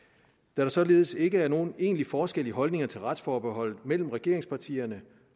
der således ikke er nogen egentlig forskel i holdningen til retsforbeholdet mellem regeringspartierne